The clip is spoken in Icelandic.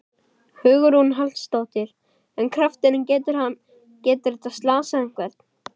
Hugrún Halldórsdóttir: En krafturinn, getur hann, getur þetta slasað einhvern?